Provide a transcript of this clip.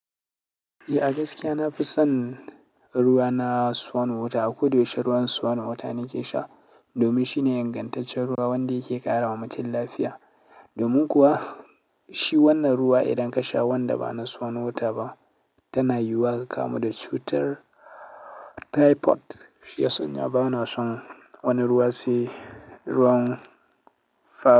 Eh a gaskiya na fi son ruwa na swan wota, a ko da yaushe ruwan swan wota nake sha domin shine dangantaccen ruwa wanda yake ƙara wa mutum lafiya. Domin kuwa shi wannan ruwa idan ka sha wanda ba na swan wota ba tana yuwa ka kamu da cutar typhoid. Shi ya sanya ba na son wani ruwa sai ruwan fan.